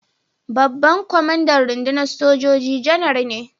Babban kwamandan rundunar sojoji Janar ne.